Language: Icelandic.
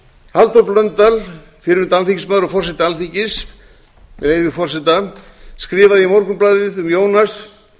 halldór blöndal fyrrverandi alþingismaður og forseti alþingis með leyfi forseta skrifaði í morgunblaðið um jónas